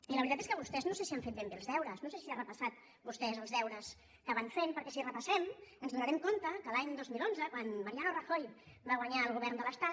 i la veritat és que vostès no sé si han fet ben bé els deures no sé si ha repassat vostè els deures que van fent perquè si ho repassem ens adonarem que l’any dos mil onze quan mariano rajoy va guanyar el govern de l’estat